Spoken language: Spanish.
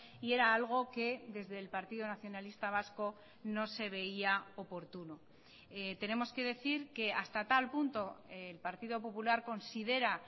y era algo que desde el partido nacionalista vasco no se veía oportuno tenemos que decir que hasta tal punto el partido popular considera